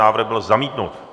Návrh byl zamítnut.